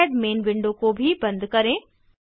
KiCad main window को भी बंद करें